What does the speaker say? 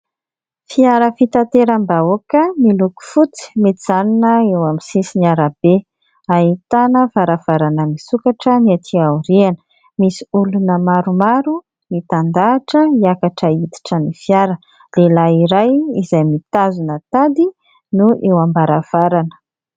Fiara fitanteram-bahoaka miloko fotsy mijanona eo amin'ny sisin'arabe. Ahitana varavarana misokatra ny aty aoriana. Misy olona maromaro mitandahatra hiakatra hiditra ny fiara. Lehilahy iray izay mitazona tady no hita eo ambaravarana.